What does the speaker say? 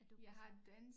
At du kan snakke